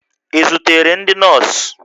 Ị zutere ndị nọọsụ?